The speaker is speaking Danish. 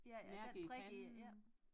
Ja den prik i ja